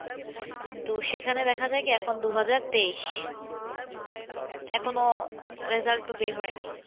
কিন্তু সেখানে দেখা যায় কি এখন দুহাজার তেইশ এখনও result তো বের হয় নাই।